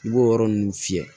I b'o yɔrɔ ninnu fiyɛ